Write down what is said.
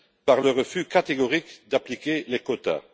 par le refus catégorique d'appliquer les quotas.